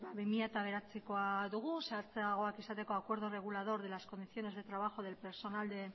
bi mila bederatzikoa dugu zehatzagoak izateko acuerdo regulador de las condiciones de trabajo del personal de